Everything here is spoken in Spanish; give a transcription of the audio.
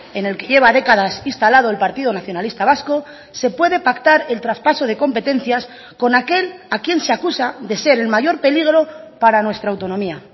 en el que lleva décadas instalado el partido nacionalista vasco se puede pactar el traspaso de competencias con aquel a quien se acusa de ser el mayor peligro para nuestra autonomía